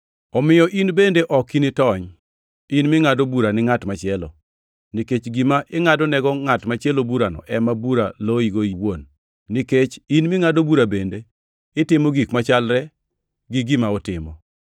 Omiyo in bende ok initony, in mingʼado bura ni ngʼat machielo, nikech gima ingʼadonego ngʼat machielo burano ema bura loyigo iwuon, nikech in mingʼado bura bende itimo gik machalre gi gima otimo.